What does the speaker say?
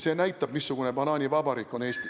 See näitab, missugune banaanivabariik on Eesti.